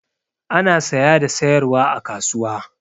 Ana saya da sayarwa a kasuwa.